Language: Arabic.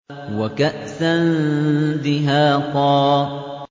وَكَأْسًا دِهَاقًا